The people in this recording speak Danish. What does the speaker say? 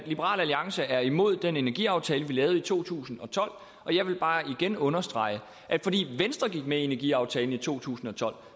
liberal alliance er imod den energiaftale vi lavede i to tusind og tolv jeg vil bare igen understrege at fordi venstre gik med i energiaftalen i to tusind og tolv